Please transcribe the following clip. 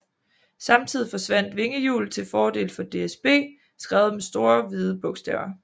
Samtidig forsvandt vingehjulet til fordel for DSB skrevet med store hvide bogstaver